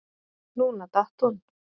Núna datt hún